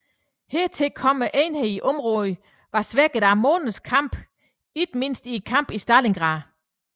Hertil kom at enhederne i området var svækket af måneders kamp ikke mindst i kampene i Stalingrad